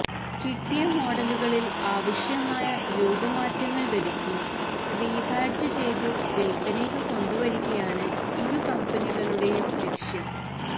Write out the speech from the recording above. കിട്ടിയ മോഡലുകളില് ആവശ്യമായ രൂപമാറ്റങ്ങള് വരുത്തി റീബാഡ്ജ് ചെയ്തു വില്പനയ്ക്ക് കൊണ്ടുവരികയാണ് ഇരു കമ്പനികളുടെയും ലക്ഷ്യം